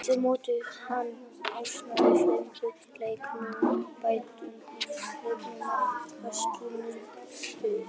Eftir mótið var hann ásamt fleiri leikmönnum dæmdur í leikbann af knattspyrnusambandinu.